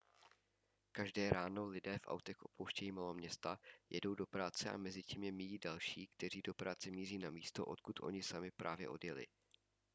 každé ráno lidé v autech opouštějí maloměsta jedou do práce a mezitím je míjí další kteří do práce míří na místo odkud oni sami právě odjeli